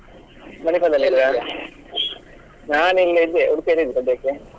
Manipal ದಲ್ಲಿ ಇದ್ರ? ನಾನ್ ಇಲ್ಲಿ ಇದ್ದೆ Udupi ಯಲ್ಲಿ ಇದ್ದೆ ಅದಿಕ್ಕೆ.